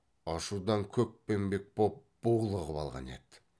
ашудан көкпеңбек боп булығып алған еді